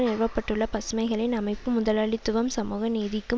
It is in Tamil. நிறுவ பட்டுள்ள பசுமைகளின் அமைப்பு முதலாளித்துவம் சமூக நீதிக்கும்